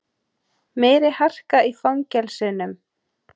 Meiri harka í fangelsunum